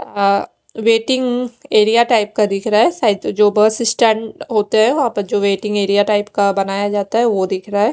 अ waiting area type का दिख रहा है सायद जो बस स्टेंड होते है वहां पर जो वेटिंग एरिया टाइप बनाया जाता है वो दिख रहा है।